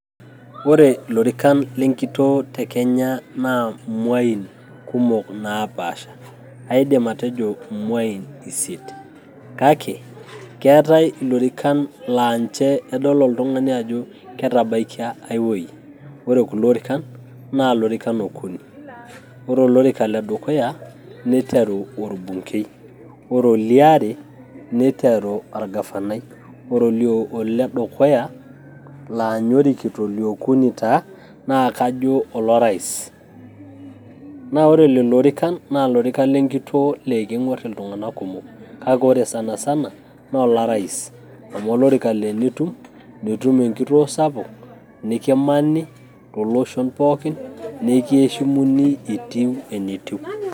Ore ilorikan le nkitoo te Kenya naa imuain kumok naapasha, aidim atejo imuain isiet kake keetae ilorikan laa ninche edol oltung'ani ajo ketabaikia ai wuei, ore kulo orikan naa ilorikan okuni, ore olorika le dukuya neiteru orbungei, ore oliare neiteru orgavanai, ore ole dukuya laa ninye orikito, oliokuni taa naa kajo olorais. Naa ore lelo orikan naa ilorikan lenkitoo laa ekeng'uerr iltung'anak kumok, kake ore sanasana naa olorais amu olorika laa enitum nitum enkitoo sapuk, nikimani too loshon pookin nikieshimuni etiu enitiu.